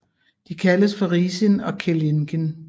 De kaldes for Risin og Kellingin